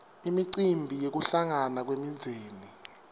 imicimbi yekuhlangana kwemindzeni